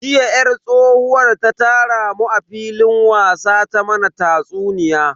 Jiya yar tsohuwar ta tara mu a filin wasa ta mana tatsuniya.